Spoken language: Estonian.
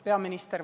Peaminister!